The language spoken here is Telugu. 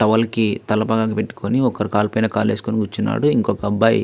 టవల్ కి తలపాక కట్టుకొని ఒకరు కాలిపోయిన కాలు వేసుకుని కూర్చున్నాడు. ఇంకొక అబ్బాయి --